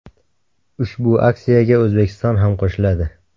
Ushbu aksiyaga O‘zbekiston ham qo‘shiladi.